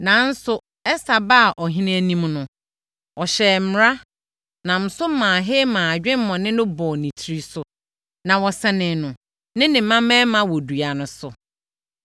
Nanso, Ɛster baa ɔhene anim no, ɔhyɛɛ mmara, nam so maa Haman adwemmɔne no bɔɔ ne tiri so, na wɔsɛnee no ne mmammarima wɔ dua no so.